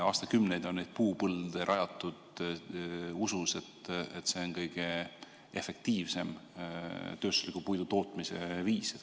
Aastakümneid on neid puupõlde rajatud usus, et see on kõige efektiivsem tööstusliku puidu tootmise viis.